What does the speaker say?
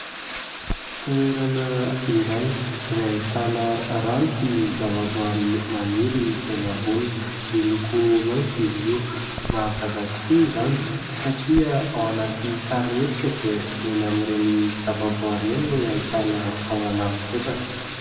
Toerana iray izay ahitana rano sy zavaboahary maniry eny amboniny, miloko maitso izy io. Mahagaga tokoa izany satria ao anaty sarimihetsika dia eny amin'ireny zavaboahary ireny no ahitana sahona mipetraka.